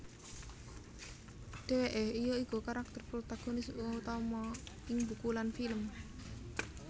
Dheweke ya iku karakter protagonis utama ing buku lan film